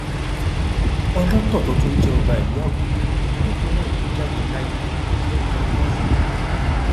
olótó tó tún jẹ ọba ìlú àgùdà nípìnlẹ èkó jáde láyé lẹni ọgọrin ọdún